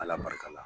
Ala barika la